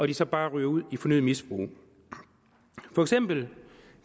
de så bare ryger ud i fornyet misbrug for eksempel